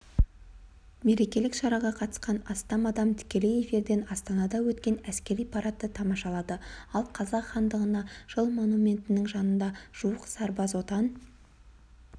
мерекелік шараға қатысқан астам адам тікелей эфирден астанада өткен әскери парадты тамашалады ал қазақ хандығына жыл монументінің жанында жуық сарбаз отан